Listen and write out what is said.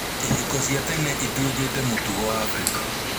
ihiko cia tene ĩtuĩkĩte mũtugo Afrika